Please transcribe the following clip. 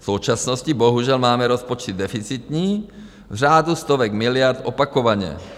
V současnosti bohužel máme rozpočet deficitní v řádu stovek miliard opakovaně.